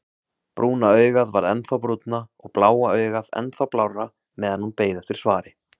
Brúna augað varð ennþá brúnna og bláa augað ennþá blárra meðan hún beið eftir svari.